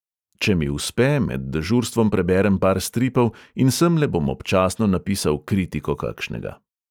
Če mi uspe, med dežurstvom preberem par stripov in semle bom občasno napisal kritiko kakšnega.